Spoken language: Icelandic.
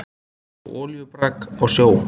Einsog olíubrák á sjó.